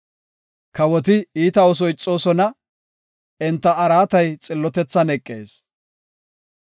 Kawoti iita ooso ixoosona; enta araatay xillotethan eqees.